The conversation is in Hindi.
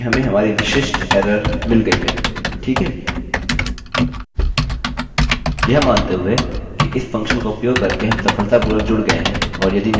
यह मानते हुए कि इस फंक्शन fuction का उपयोग करके हम सफलतापूर्वक जुड़ गए हैं और यदि नहीं तो हमने यह एररerror सूचना दे दी है अगला कार्य यह करना है कि अपने डेटाबेस को चुनना है